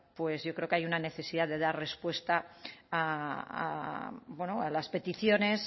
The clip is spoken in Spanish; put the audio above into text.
pues yo creo que hay una necesidad de dar respuesta a las peticiones